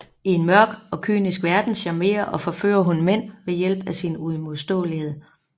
I en mørk og kynisk verden charmerer og forfører hun mænd ved hjælp af sin uimodståelighed